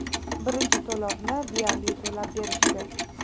Birinchi to‘lovni deyarli to‘lab berishdi.